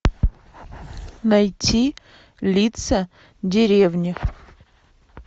найти лица деревни